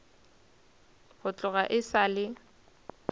go tloga e sa le